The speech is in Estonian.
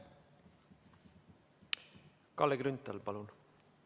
Kalle Grünthal, palun!